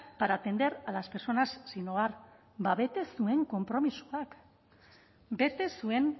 para atender a las personas sin hogar bete zuen konpromisoak bete zuen